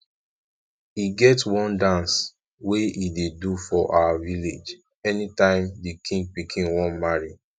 e get one dance we ey do for our village anytime the king pikin wan marry